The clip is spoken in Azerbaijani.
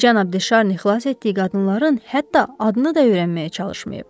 Cənab De Şarni xilas etdiyi qadınların hətta adını da öyrənməyə çalışmayıb.